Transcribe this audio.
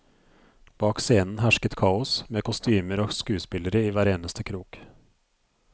Bak scenen hersket kaos, med kostymer og skuespillere i hver eneste krok.